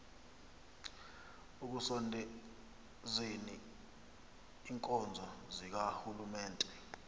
ekusondezeni iinkonzo zikarhulumente